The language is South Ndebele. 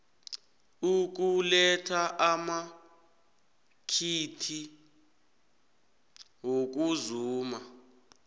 ukuletha amakhiti wokuzuma